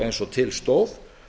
eins og til stóð